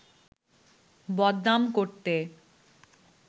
বদনাম করতে